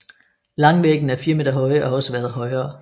Langvæggene er 4 meter høje og har også været højere